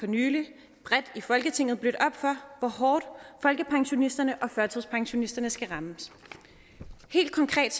nylig bredt i folketinget blødt op for hvor hårdt folkepensionisterne og førtidspensionisterne skal rammes helt konkret